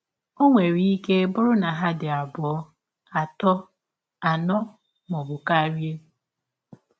Ọ nwere ike bụrụ na ha dị abụọ, dị abụọ, atọ, anọ, ma ọ bụ karịa.